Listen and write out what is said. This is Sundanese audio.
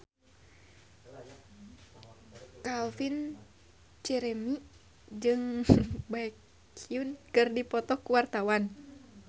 Calvin Jeremy jeung Baekhyun keur dipoto ku wartawan